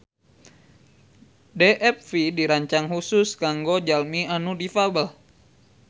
DFV dirancang khusus kanggo jalmi anu difabel